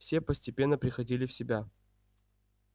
все постепенно приходили в себя